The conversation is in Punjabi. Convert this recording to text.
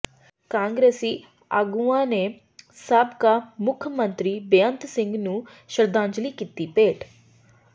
ਕਾਂਗਰਸੀ ਆਗੂਆਂ ਨੇ ਸਾਬਕਾ ਮੁੱਖ ਮੰਤਰੀ ਬੇਅੰਤ ਸਿੰਘ ਨੂੰ ਸ਼ਰਧਾਂਜਲੀ ਕੀਤੀ ਭੇਟ